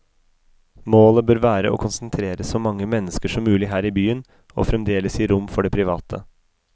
Målet bør være å konsentrere så mange mennesker som mulig her i byen, og fremdeles gi rom for det private.